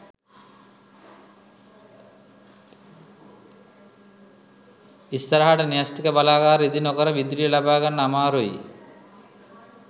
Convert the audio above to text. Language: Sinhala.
ඉස්සරහට න්‍යෂ්ටික බලාගාර ඉදි නොකර විදුලිය ලබාගන්න අමාරුයි